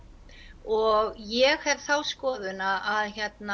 og ég hef þá skoðun að